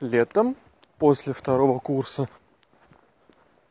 летом после второго курса